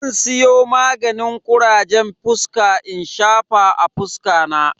Zan siyo maganin kurajen fuska in shafa a fuska na.